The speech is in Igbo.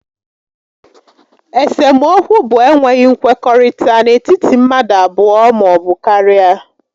Esemokwu bụ enweghị nkwekọrịta n'etiti mmadụ abụọ maọbụ karịa